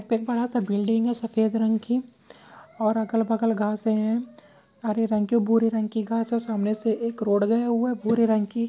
एक बड़ा सा बिल्डिंग है सफ़ेद रंग की और अगल बगल घासे है हरे रंग के भूरे रंग के घासे है सामने से एक रोड गया हुआ है भूरे रंग की--